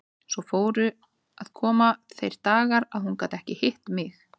Svo fóru að koma þeir dagar að hún gat ekki hitt mig.